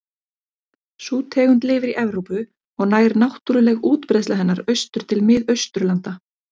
Sú tegund lifir í Evrópu og nær náttúruleg útbreiðsla hennar austur til Mið-Austurlanda.